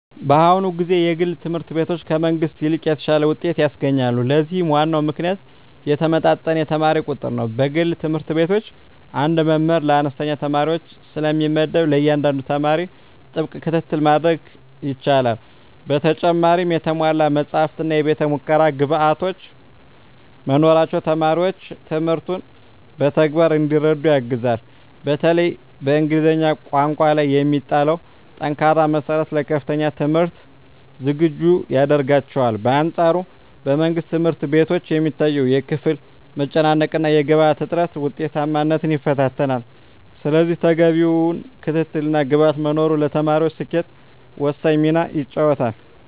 በአሁኑ ጊዜ የግል ትምህርት ቤቶች ከመንግሥት ይልቅ የተሻለ ውጤት ያስገኛሉ። ለዚህም ዋናው ምክንያት የተመጣጠነ የተማሪ ቁጥር ነው። በግል ትምህርት ቤቶች አንድ መምህር ለአነስተኛ ተማሪዎች ስለሚመደብ፣ ለእያንዳንዱ ተማሪ ጥብቅ ክትትል ማድረግ ይቻላል። በተጨማሪም የተሟሉ መጻሕፍትና የቤተ-ሙከራ ግብዓቶች መኖራቸው ተማሪዎች ትምህርቱን በተግባር እንዲረዱ ያግዛል። በተለይም በእንግሊዝኛ ቋንቋ ላይ የሚጣለው ጠንካራ መሠረት ለከፍተኛ ትምህርት ዝግጁ ያደርጋቸዋል። በአንፃሩ በመንግሥት ትምህርት ቤቶች የሚታየው የክፍል መጨናነቅና የግብዓት እጥረት ውጤታማነትን ይፈታተናል። ስለዚህ ተገቢው ክትትልና ግብዓት መኖሩ ለተማሪዎች ስኬት ወሳኝ ሚና ይጫወታል።